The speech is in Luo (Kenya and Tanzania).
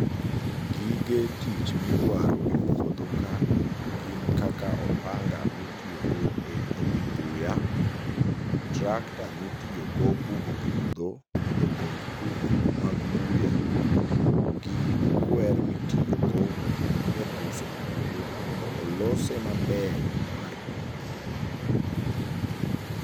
Gige tich midwaro e puodho ka gin kaka opanga mitiyogo e tong'o buya, tractor mitiyogo bugo puodho mondo ogol kuku mag buya gi kwer mitiyogo e buso puodho mondo olose maber mar pitho.